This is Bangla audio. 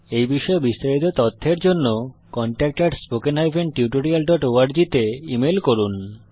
এই বিষয়ে বিস্তারিত তথ্যের জন্য contactspoken tutorialorg তে ইমেল করুন